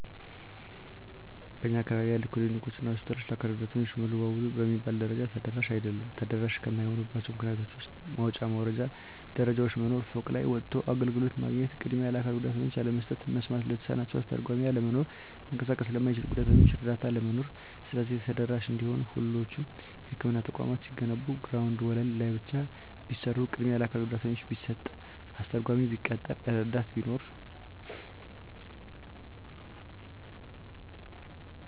በእኛ አካባቢ ያሉ ክሊኒኮች እና ሆስፒታሎች ለአካል ጉዳተኞች ሙሉ በሙሉ በሚባል ደረጃ ተደራሽ አይደሉም። ተደራሽ ከማይሆኑባቸው ምክንያቶች ውስጥ መውጫ መውረጃ ደረጃዎች መኖር፤ ፎቅ ላይ ወጥቶ አገልግሎት ማግኘት፤ ቅድሚያ ለአካል ጉዳተኞች አለመስጠት፤ መስማት ለተሳናቸው አስተርጓሚ አለመኖር፤ መንቀሳቀስ ለማይችሉት ጉዳተኞች እረዳት አለመኖር። ስለዚህ ተደራሽ እንዲሆኑ ሁሎቹም የህክምና ተቋማት ሲገነቡ ግራውንድ ወለል ላይ ብቻ ቢሰሩ፤ ቅድሚያ ለአካል ጉዳተኛ ቢሰጥ፤ አስተርጓሚ ቢቀጠር፤ እረዳት ቢኖር።